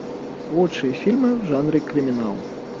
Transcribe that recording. лучшие фильмы в жанре криминал